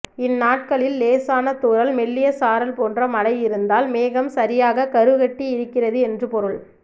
இந்நாட்களில் லேசான தூறல் மெல்லிய சாரல் போன்ற மழை இருந்தால் மேகம் சரியாக கரு கட்டி இருக்கிறது என்று பொருள்